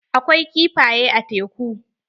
Akwai kifaye a teku.